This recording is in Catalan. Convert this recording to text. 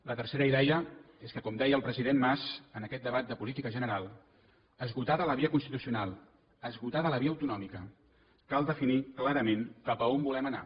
la tercera idea és que com deia el president mas en aquest debat de política general esgotada la via constitucional esgotada la via autonòmica cal definir clarament cap a on volem anar